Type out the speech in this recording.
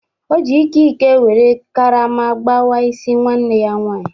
O ji Ike Ike were karama gbawa isi nwanne ya nwanyị.